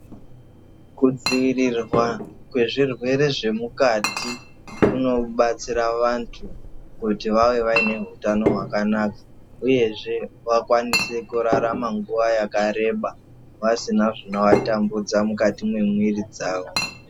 Kudzivirirwa kwezvirwere zvemikati kunobatsira vantu kuti vave vaine hutano hwakanaka uyezve wakwanise kurarama nguva yakareba vasina zvinovatambudza mukati mwemwiri dzavo.